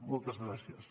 moltes gràcies